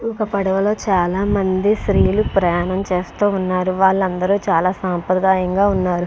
ఒక పడవల్లో చాలా మంది సన్యలు ప్రయాణం చేస్తూ ఉన్నరు. వాళ్ళు అందరు చాలా సంప్రయదాం గా ఉన్నారు.